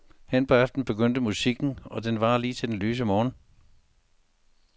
Hen på aftenen begynder musikken, og den varer lige til den lyse morgen.